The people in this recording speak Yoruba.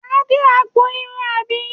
Wà á dé agbọn irun àbí?